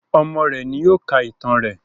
Ọmọ rẹ ni yóò ká ìtàn rẹ